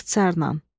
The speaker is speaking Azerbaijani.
İxtisarla.